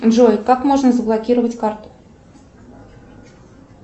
джой как можно заблокировать карту